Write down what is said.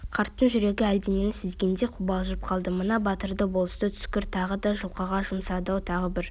қарттың жүрегі әлденені сезгендей қобалжып қалды мына батырды болысы түскір тағы да жылқыға жұмсады-ау тағы бір